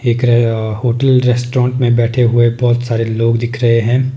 एक रे अह होटल रेस्टोरेंट में बैठे हुए बहुत सारे लोग दिख रहे हैं।